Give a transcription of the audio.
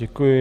Děkuji.